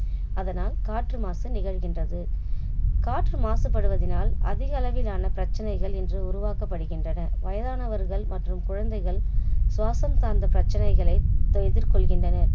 அதனால் காற்று மாசு நிகழ்கின்றது. காற்று மாசுபடுவதினால் அதிக அளவிலான பிரச்சனைகள் இன்று உருவாக்கப்படுகின்றன வயதானவர்கள் மற்றும் குழந்தைகள் சுவாசம் சார்ந்த பிரச்சனைகளை இன்று எதிர்கொள்கின்றனர்